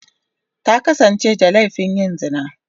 Ta kasance da laifin yin zina.